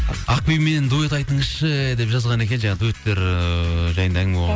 ақбибімен дуэт айтыңызшы деп жазған екен жаңа дуэттер ыыы жайында әңгіме